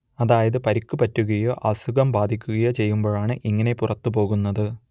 അതായത് പരിക്കു പറ്റുകയോ അസുഖം ബാധിക്കുകയോ ചെയ്യുമ്പോഴാണ് ഇങ്ങനെ പുറത്തുപോകുന്നത്